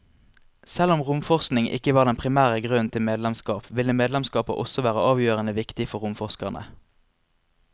Selv om romforskning ikke var den primære grunnen til medlemskap, ville medlemskapet også være avgjørende viktig for romforskerne.